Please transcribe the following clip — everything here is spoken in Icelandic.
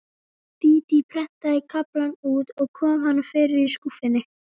Dídí prentaði kaflann út og kom honum fyrir í skúffunni.